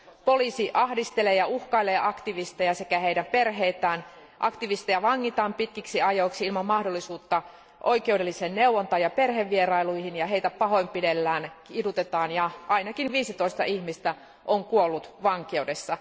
Poliisi ahdistelee ja uhkailee aktivisteja sekä heidän perheitään, aktivisteja vangitaan pitkiksi ajoiksi ilman mahdollisuutta oikeudelliseen neuvontaan ja perhevierailuihin, ja heitä pahoinpidellään ja kidutetaan, ja ainakin 15 ihmistä on kuollut vankeudessa.